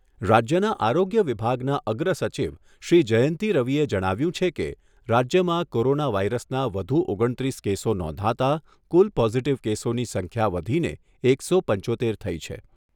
રાજ્યના આરોગ્ય વિભાગના અગ્રસચિવ શ્રી જયંતી રવિએ જણાવ્યુંં છે કે, રાજ્યમાં કોરોના વાયરસના વધુ ઓગણત્રીસ કેસો નોંધાતા કુલ પોઝિટિવ કેસોની સંખ્યા વધીને એકસો પંચોતેર થઈ છે.